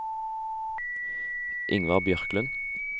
Ingvar Bjørklund